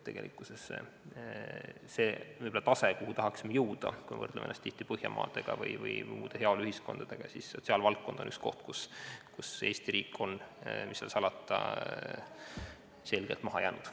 Kui vaatame seda taset, kuhu tahaksime jõuda – võrdleme ennast tihti Põhjamaade või muude heaoluühiskondadega –, siis näeme, et sotsiaalvaldkond on üks koht, kus Eesti riik on, mis seal salata, selgelt maha jäänud.